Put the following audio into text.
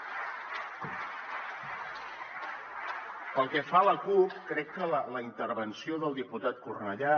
pel que fa a la cup crec que la intervenció del diputat cornellà